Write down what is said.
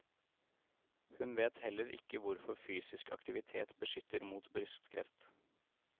Hun vet heller ikke hvorfor fysisk aktivitet beskytter mot brystkreft.